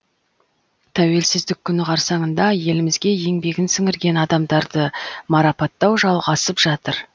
тәуелсіздік күні қарсаңында елімізге еңбегін сіңірген адамдарды марапаттау жалғасып жатыр